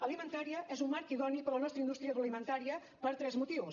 alimentaria és un marc idoni per a la nostra indústria agroalimentària per tres motius